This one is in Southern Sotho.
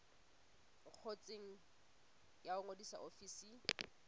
ngotsweng ya ho ngodisa ofising